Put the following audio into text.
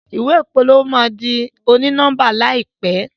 ìwé ìpolówó ma dì oni-nọmba láìpé